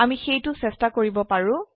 আমি সেইটো চেষ্টা কৰিব পাৰো